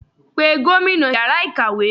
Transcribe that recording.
pè gómìnà ìyára ikáwe!